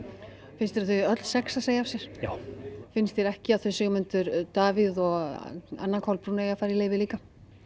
finnst þér að öll sex eigi að segja af sér já finnst þér ekki að Sigmundur Davíð og Anna Kolbrún eigi að fara í leyfi líka